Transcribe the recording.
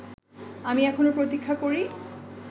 আমি এখনো প্রতীক্ষা করি